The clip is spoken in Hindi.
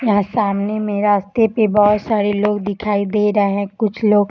यहाँ सामने में रास्ते पे बोहोत सारे लोग दिखाई दे रहे हैं। कुछ लोग --